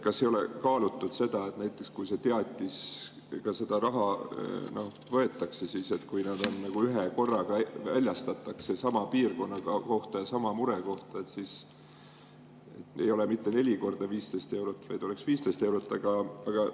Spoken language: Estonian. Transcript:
Kas ei ole kaalutud näiteks seda, et kui seda raha võetakse, siis väljastatakse ühekorraga teatis sama piirkonna kohta ja sama mure kohta, nii et ei oleks mitte neli korda 15 eurot, vaid oleks 15 eurot?